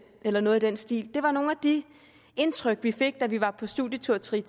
eller noget i den stil det var nogle af de indtryk vi fik da vi var på studietur til